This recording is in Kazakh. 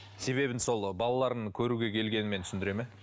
себебін сол балаларын көруге келгенімен түсіндіре ме